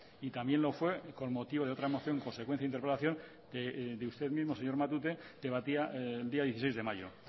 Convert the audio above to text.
también lo fue por motivo de una moción consecuencia de interpelación de usted mismo señor matute que debatida el día dieciséis de mayo